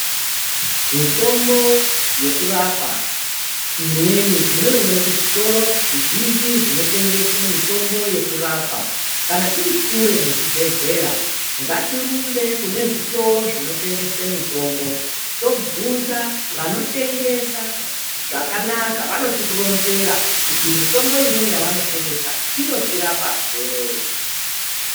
Mitombo yekurapa imweni tinoiona kuzvitoro zvizhinji zvinotengese mitombo yekurapa. Kana tiri kure nezvibhedhlera ngatirumbe kune zvitoro zvinotengese mitombo tobvunza vanotengesa zvakanaka vanotironzera kuti mitombo imweni yavanotengesa inotirapa sei